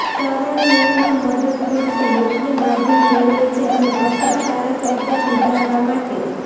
સરળ નિયમો મદદ કરશે યોગ્ય માધ્યમ મેળવે છે અને અસરકારક રીતે સુધારવા માટે